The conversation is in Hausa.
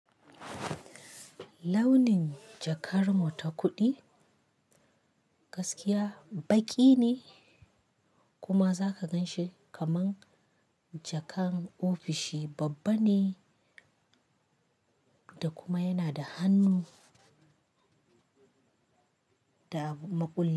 Launin jakar mu ta kuɗi gaskiya baƙi ne kuma zaka gan shi kaman jakan ofishi babba ne da kuma yana da hannu da makulli.